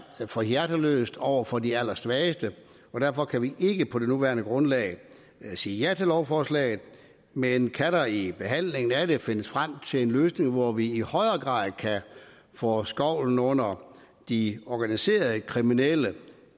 for hjerteløst over for de allersvageste og derfor kan vi ikke på det nuværende grundlag sige ja til lovforslaget men kan der i behandlingen af det findes frem til en løsning hvor vi i højere grad kan få skovlen under de organiserede kriminelle